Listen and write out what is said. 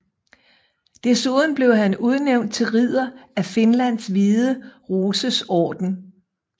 Desuden blev han udnævnt til ridder af Finlands Hvide Roses Orden